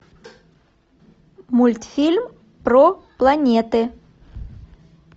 мультфильм про планеты